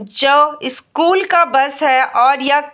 जो स्कूल का बस है और यक --